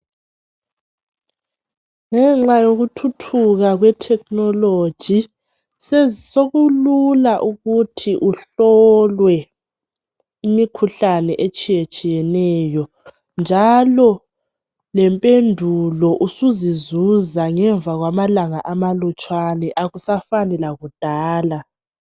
Ngenxa yokuthuthuka kwe technology sokulula ukuthi uhlolwe imikhuhlane etshiye tshiyeneyo njalo lempendulo usuzizuza ngemva kwamalanga amalutshwana akusafani lakudala.